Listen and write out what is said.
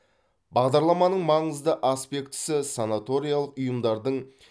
бағдарламаның маңызды аспектісі санаториялық ұйымдардың